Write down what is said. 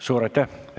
Suur aitäh!